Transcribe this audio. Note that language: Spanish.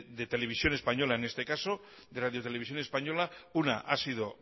de televisión española en este caso de radio televisión española una ha sido